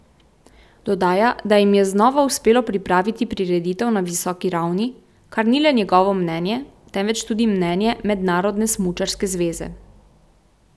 Dodaja, da jim je znova uspelo pripraviti prireditev na visoki ravni, kar ni le njegovo mnenje, temveč tudi mnenje Mednarodne smučarske zveze.